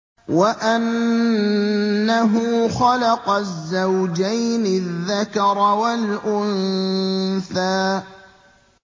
وَأَنَّهُ خَلَقَ الزَّوْجَيْنِ الذَّكَرَ وَالْأُنثَىٰ